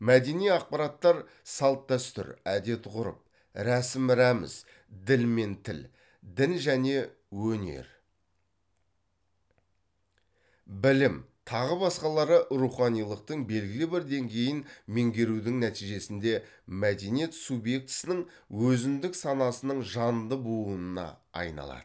мәдени ақпараттар салт дәстүр әдет ғұрып рәсім рәміз діл мен тіл дін және өнер білім тағы басқалары руханилықтың белгілі бір деңгейін меңгерудің нәтижесінде мәдениет субъектісінің өзіндік санасының жанды буынына айналады